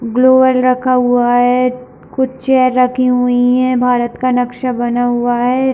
Global रखा हुआ है कुछ चेयर रखी हुई है भारत का नक्शा बना हुआ है।